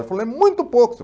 Eu falei, é muito pouco.